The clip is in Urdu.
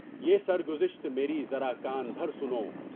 یہ سر گزشت میری ذرا کان دہر سنو!